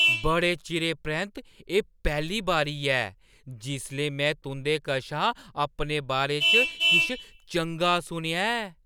बड़े चिरें परैंत्त एह् पैह्‌ली बारी ऐ जिसलै में तुंʼदे कशा अपने बारे च किश चंगा सुनेआ ऐ।